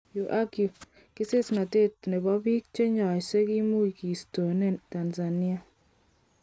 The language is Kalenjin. Yu ak yu:kesesnotet nebo bik chenyoise kimuch kistoneng Tanzania.